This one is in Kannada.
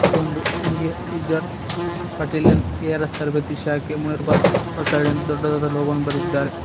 ಇದ ಒಂದು India reserve battalion A R S ತರಬೇತಿ ಶಾಖೆ ಮುನೀರ್ ಬಾದ್ ಹೊಸಳ್ಳಿ ಅಂತ ದೊಡ್ಡದಾದ ಲೋಗೋ ಅನ್ನು ಬರೆದಿದ್ದಾರೆ.